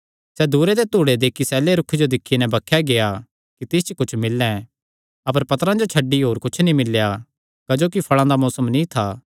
सैह़ दूरे ते धूड़े दे इक्की सैले रूखे जो दिक्खी नैं बक्खे गेआ कि तिस च कुच्छ मिल्लैं अपर पत्तरां छड्डी होर कुच्छ नीं मिल्लेया क्जोकि फल़ां दा मौसम नीं था